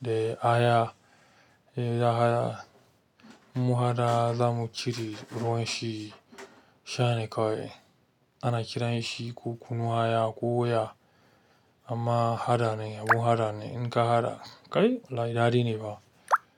da aya da aah. Mu haɗa za mu cire ruwan shi, sha ne kawai. Ana kiran shi ko kunun aya ko wuya amma haɗa ne, abun haɗa ne. In ka haɗa kai, wallahi ɗadi ne ba.